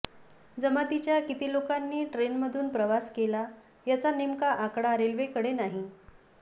जमातीच्या किती लोकांनी ट्रेनमधून प्रवास केला याचा नेमका आकडा रेल्वेकडे नाही